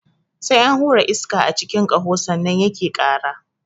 Sai an hura iska a cikin ƙaho sannan yake ƙara.